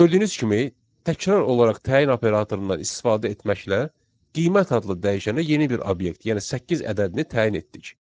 Gördüyünüz kimi təkrar olaraq təyin operatorundan istifadə etməklə qiymət adlı dəyişənə yeni bir obyekt, yəni səkkiz ədədini təyin etdik.